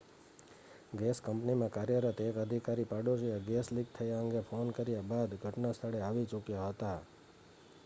gas કંપનીમાં કાર્યરત એક અધિકારી પાડોશીએ ગેસ લીક થવા અંગે ફોન કર્યા બાદ ઘટના સ્થળે આવી ચૂક્યા હતા